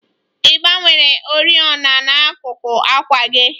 Ị gbanwere oriọna n'akuku àkwà gị?